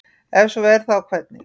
ef svo er þá hvernig